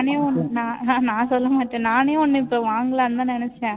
நான் நான் நான் சொல்ல மாட்டேன் நானே ஒண்ணு இப்போ வாங்கலாம்னு நினைச்சேன்